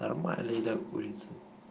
нормальная еда курица